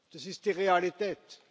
Das ist die Realität.